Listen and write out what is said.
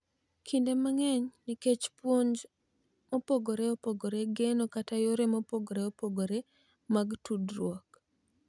Kinde mang'eny nikech puonj mopogore opogore, geno, kata yore mopogore opogore mag tudruok.